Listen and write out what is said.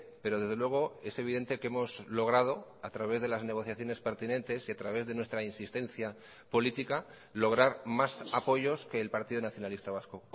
pero desde luego es evidente que hemos logrado a través de las negociaciones pertinentes y a través de nuestra insistencia política lograr más apoyos que el partido nacionalista vasco